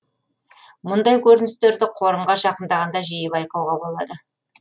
мұндай көріністерді қорымға жақындағанда жиі байқауға болады